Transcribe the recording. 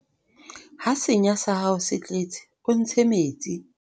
ha senya sa hao se tletse o ntshe metsi